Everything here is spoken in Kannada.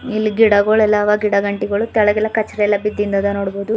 ಇಲ್ಲಿ ಗಿಡಗೋಳೆಲ್ಲಾ ಅವ ಗಿಡ ಗಂಟ್ಟಿಗೋಳು ತೆಳಗ ಎಲಾ ಕಚ್ ಎಲ್ಲಾ ಬಿದ್ದಿಂದ್ ಅದ ನೋಡ್ಬಾದು.